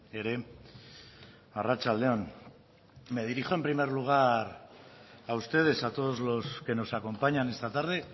ere arratsalde on me dirijo en primer lugar a ustedes a todos los que nos acompañan esta tarde